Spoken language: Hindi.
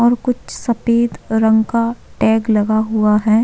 और कुछ सफ़ेद रंग का टेग लगा हुआ है।